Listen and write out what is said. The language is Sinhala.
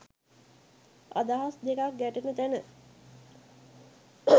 අදහස් දෙකක් ගැටෙන තැන